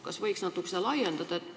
Kas võiks natukene seda laiendada?